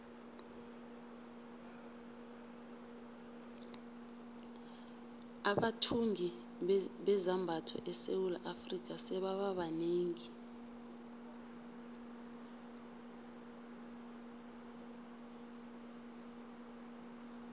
abathungi bezambatho esewula afrika sebaba banengi